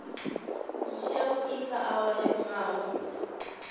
yavhui kha avho vha shumaho